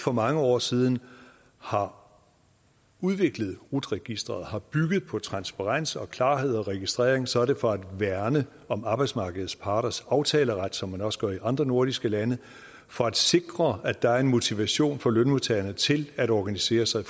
for mange år siden har udviklet rut registeret har bygget på transparens og klarhed og registrering så er det for at værne om arbejdsmarkedets parters aftaleret som man også gør i andre nordiske lande for at sikre at der er en motivation for lønmodtagerne til at organisere sig